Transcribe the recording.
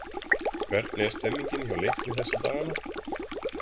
Hvernig er stemmningin hjá Leikni þessa dagana?